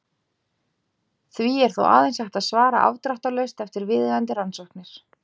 Því er þó aðeins hægt að svara afdráttarlaust eftir viðeigandi rannsóknir.